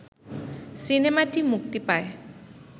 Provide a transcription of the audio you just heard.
সিনেমাটি মুক্তি পায়